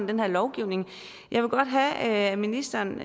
den her lovgivning jeg vil godt have at ministeren